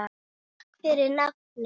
Takk fyrir nafnið.